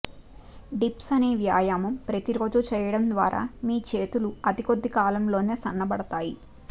dips అనే వ్యాయామం ప్రతిరోజూ చేయడం ద్వారా మీ చేతులు అతి కొద్ది కాలంలోనే సన్నబడతాయి